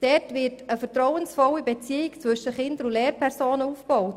Dort wird eine vertrauensvolle Beziehung zwischen Kind und Lehrperson aufgebaut.